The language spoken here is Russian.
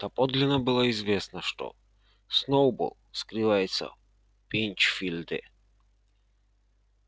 доподлинно было известно что сноуболл скрывается в пинчфилде